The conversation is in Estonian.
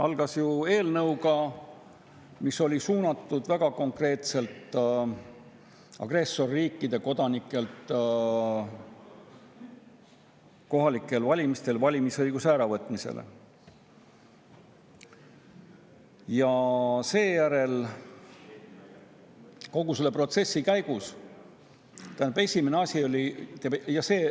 Algas see ju eelnõuga, mis oli suunatud väga konkreetselt agressorriikide kodanikelt kohalikel valimistel valimisõiguse äravõtmisele.